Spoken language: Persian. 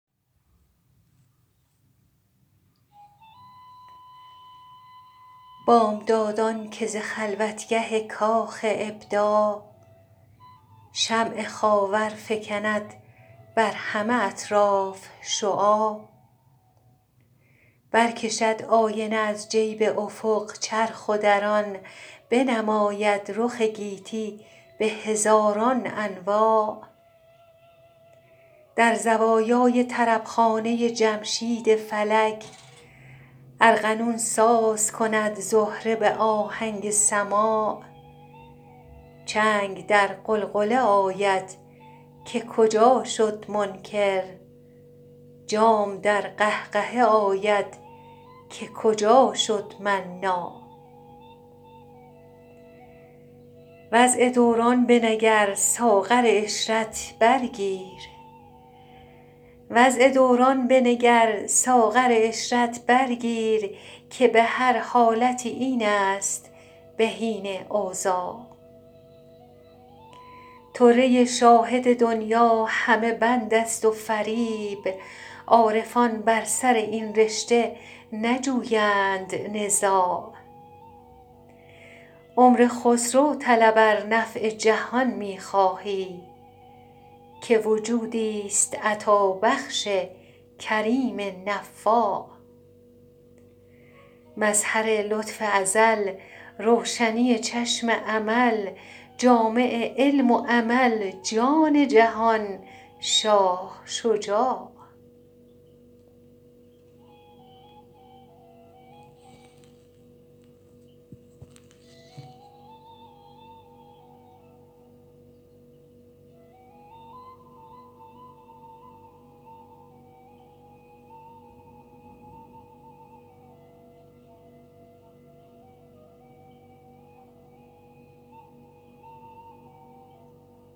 بامدادان که ز خلوتگه کاخ ابداع شمع خاور فکند بر همه اطراف شعاع برکشد آینه از جیب افق چرخ و در آن بنماید رخ گیتی به هزاران انواع در زوایای طربخانه جمشید فلک ارغنون ساز کند زهره به آهنگ سماع چنگ در غلغله آید که کجا شد منکر جام در قهقهه آید که کجا شد مناع وضع دوران بنگر ساغر عشرت بر گیر که به هر حالتی این است بهین اوضاع طره شاهد دنیی همه بند است و فریب عارفان بر سر این رشته نجویند نزاع عمر خسرو طلب ار نفع جهان می خواهی که وجودیست عطابخش کریم نفاع مظهر لطف ازل روشنی چشم امل جامع علم و عمل جان جهان شاه شجاع